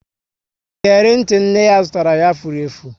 Iyeri ntị nne ya zụtara ya, furu efu